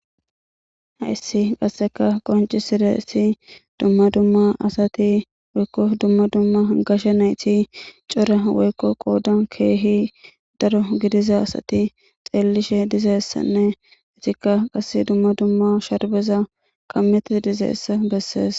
Hayssi qasseka qonci siresi dumma dumma asati woykko dumma dumma gashe nayti cora woykko qooda keehi daro gidiza asati xeellishe dizeessanne itikka qas dumma dumma sharbeza kammeti dizeessa bessees.